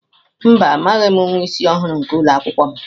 Mba, amaghim nwa isi ọhụrụ nke ụlọ akwụkwọ m.